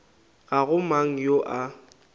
ga go mang yo a